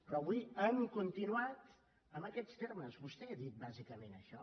però avui han continuat en aquests termes vostè ha dit bàsicament això